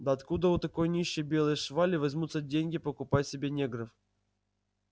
да откуда у такой нищей белой швали возьмутся деньги покупать себе негров